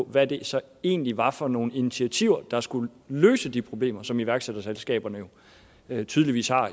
hvad det så egentlig var for nogle initiativer der skulle løse de problemer som iværksætterselskaberne jo tydeligvis har